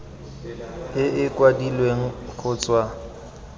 e e kwadilweng go tswa